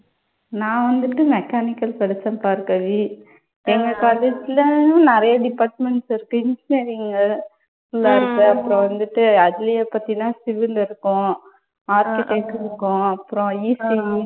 நான் வந்துட்டு மெக்கானிக்கல் படிச்சேன் பார்கவி. எங்க college லயும் நிறைய departments இருக்கு. engineering எல்லாம் இருக்கு. அப்புறம் வந்துட்டு அதுலயும் பார்த்தீனா civil இருக்கும், architect இருக்கும், அப்புறம் ECE